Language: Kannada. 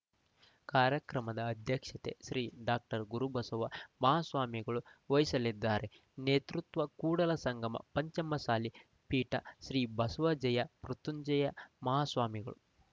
ಕಾರ್ಯಕ್ರಮದ ಅಧ್ಯಕ್ಷತೆ ಶ್ರೀ ಡಾಕ್ಟರ್ ಗುರುಬಸವ ಮಹಾಸ್ವಾಮಿಗಳು ವಸಲಿದ್ದಾರೆ ನೇತೃತ್ವ ಕೂಡಲ ಸಂಗಮ ಪಂಚಮಸಾಲಿ ಪೀಠ ಶ್ರೀ ಬಸವಜಯ ಮೃತ್ಯಂಜಯ ಮಹಾಸ್ವಾಮಿಗಳು